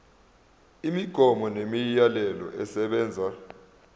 imigomo nemiyalelo esebenza